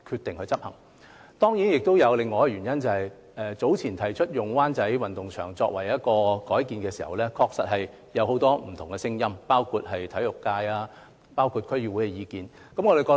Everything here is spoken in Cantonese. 當然，還有另一個原因，便是早前提出將灣仔運動場改建時，確實出現很多不同聲音，包括體育界和區議會的意見。